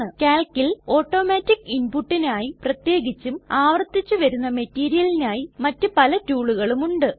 കാൽകിൽ automatic ഇൻപുട്ടിനായി പ്രത്യേകിച്ചും ആവർത്തിച്ചു വരുന്ന മെറ്റീരിയലിനായി മറ്റ് പല ടൂളുകളും ഉണ്ട്